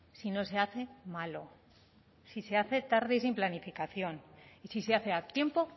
si no se hace malo si se hace tarde y sin planificación y si se hace a tiempo